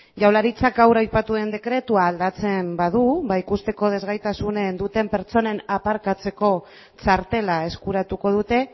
jaurlaritzak gaur aipatu duen dekretua aldatzen badu ba ikusteko desgaitasunen duten pertsonen aparkatzeko txartela eskuratuko dute